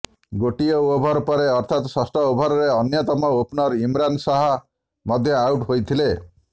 ଗୋଟିଏ ଓଭର ପରେ ଅର୍ଥାତ୍ ଷଷ୍ଠ ଓଭରରେ ଅନ୍ୟତମ ଓପ୍ନର ଇମ୍ରାନ୍ ଶାହ ମଧ୍ୟ ଆଉଟ୍ ହୋଇଥିଲେ